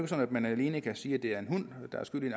sådan at man alene kan sige at det er en hund der er skyld i